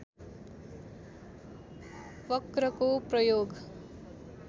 वक्रको प्रयोग